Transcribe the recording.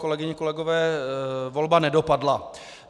Kolegyně, kolegové, volba nedopadla.